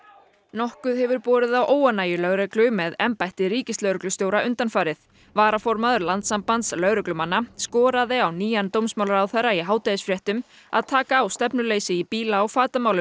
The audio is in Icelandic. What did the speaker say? nokkuð hefur borið á óánægju lögreglu með embætti ríkislögreglustjóra undanfarið varaformaður Landssambands lögreglumanna skoraði á nýjan dómsmálaráðherra í hádegisfréttum að taka á stefnuleysi í bíla og